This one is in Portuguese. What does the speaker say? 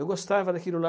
Eu gostava daquilo lá.